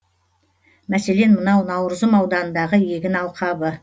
мәселен мынау наурызым ауданындағы егін алқабы